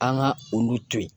An ka olu to yen